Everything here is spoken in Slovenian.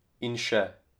In še.